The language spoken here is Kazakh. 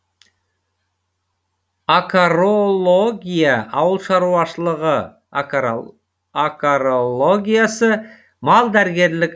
акарология ауылшаруашылығы акарологиясы малдәрігерлік